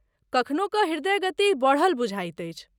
कखनो कऽ ह्रदय गति बढ़ल बुझाइत अछि।